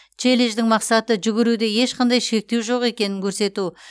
челлендждің мақсаты жүгіруде ешқандай шектеу жоқ екенін көрсету